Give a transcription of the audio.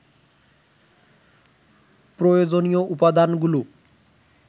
প্রয়োজনীয় উপদানাগুলো